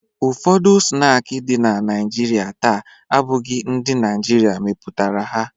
Ụfọdụ snaakị dị na Naịjirịa taa abụghị ndị Naịjirịa mepụtara ha.